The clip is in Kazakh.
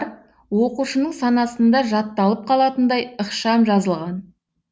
оқушының санасында жатталып қалатындай ықшам жазылған